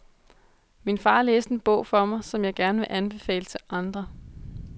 Min far læste en bog for mig, som jeg gerne vil anbefale til andre.